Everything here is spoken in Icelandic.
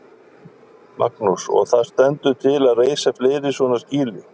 Magnús: Og það stendur til að reisa fleiri svona skýli?